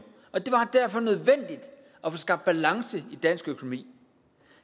og få skabt balance i dansk økonomi